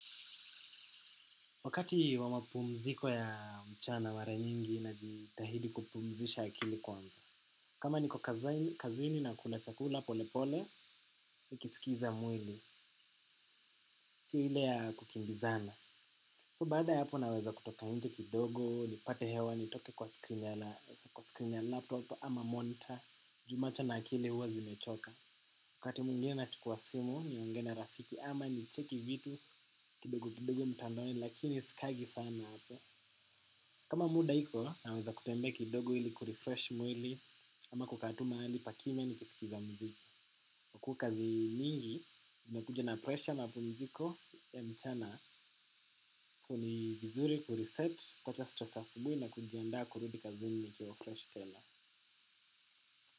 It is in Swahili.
Wakati wamapumziko ya mchana mara nyingi, najitahidi kupumzisha akili kwanza. Kama niko kazini na kula chakula polepole, nikisikiza mwili. Si ile ya kukimbizana. So baada ya hapo naweza kutoka nje kidogo, nipate hewa, nitoke kwa screen ya laptopo ama monitor. Ju macho na akili huwa zimechoka. Wakati mwingina nachukua simu, nionge na rafiki ama nicheki vitu kidogo kidogo mtandoni, lakini sikaangi sana hapo. Kama muda hiko, naweza kutembea kidogo ili kurifresh mwili, ama kukaa tu mahali pakimya nikisikiza muziki. Kukazi mingi, inakuja na pressure na pumziko ya mchana, so ni vizuri kuriset kuwacha stresa ya asubuhi na kujianda kurudi kazini nikiwa fresh tena.